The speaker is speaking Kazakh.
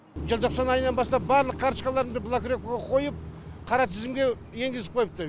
желтоқсан айынан бастап барлық карточкаларымды блокировкаға қойып қара тізімге енгізіп қойыпты